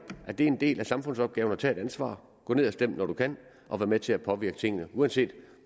at det er en del af samfundsopgaven at tage et ansvar gå ned og stem når du kan og vær med til at påvirke tingene uanset